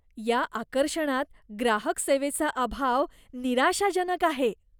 या आकर्षणात ग्राहक सेवेचा अभाव निराशाजनक आहे.